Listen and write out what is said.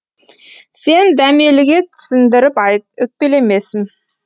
сен дәмеліге түсіндіріп айт өкпелемесін